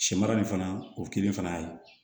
Sɛmara nin fana o kelen fana ye